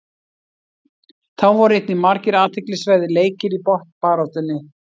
Þá voru einnig margir athyglisverðir leikir í botnbaráttunni.